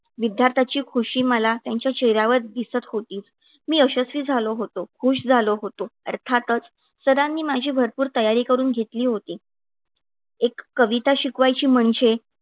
विद्यार्थ्याची खुशी मला त्यांच्या चेहऱ्यावर दिसत होती. मी यशस्वी झालो होतो. खुश झालो होतो. अर्थातच सरांनी माझी भरपूर तयारी करून घेतली होती. एक कविता शिकवायची म्हणजे